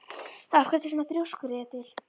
Af hverju ertu svona þrjóskur, Edil?